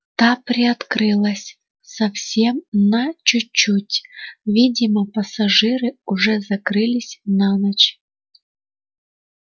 та приоткрылась совсем на чуть-чуть видимо пассажиры уже закрылись на ночь